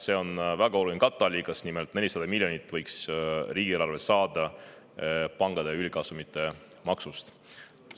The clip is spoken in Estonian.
See on väga oluline katteallikas: nimelt, 400 miljonit võiks riigieelarve saada pankade ülikasumite maksust.